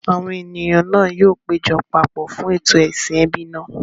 Àwọn ènìyàn náà yóò péjọ papọ̀ fún ètò ìsìn ẹbí náà.